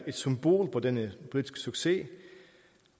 symbol på denne politiske succes